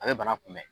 A bɛ bana kunbɛn